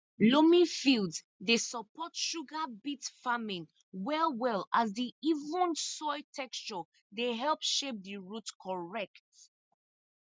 loamy fields dey support sugar beet farming well well as di even soil texture dey help shape di root correct